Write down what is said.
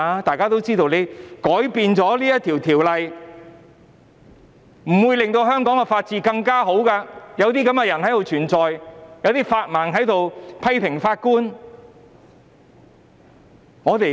大家皆知道，即使修訂《條例》，亦不會令香港的法治情況改善，因為有這些人繼續存在，有"法盲"批評法官。